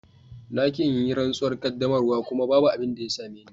Na ki in yi rantsuwar qaddamarwa kuma babu abin da ya same ni.